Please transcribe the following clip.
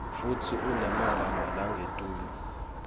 futsi unemagama langetulu